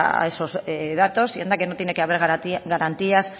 a esos datos y anda que no tiene que haber garantías